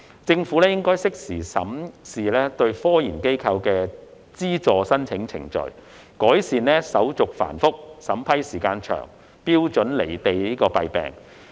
政府應適時審視對科研機構的資助申請程序，改善手續繁複、審批時間長、標準"離地"的弊病。